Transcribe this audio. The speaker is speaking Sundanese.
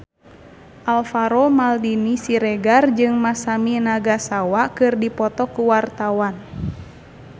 Alvaro Maldini Siregar jeung Masami Nagasawa keur dipoto ku wartawan